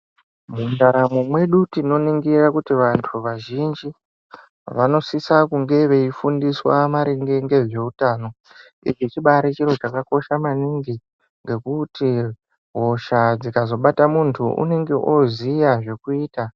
Mundaramo mwedu tinoningira kuti vantu vazhinji vanosisa kunge veyifundiswa maringe ngezvehutano. Ichi chibari chirochakakosha maningi, ngekuti hosha dzikazvobata muntu unenge oziya zvokuyita.